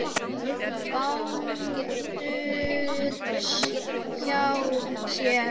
Baldurs hjá sér.